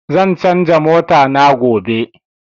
Zan canza mota na gobe